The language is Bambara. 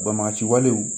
Baba ci walew